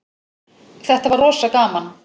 Þetta var rosa gaman.